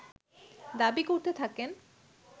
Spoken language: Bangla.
দাবী করতে থাকেন